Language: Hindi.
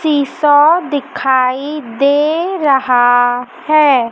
सीसॉ दिखाई दे रहा है।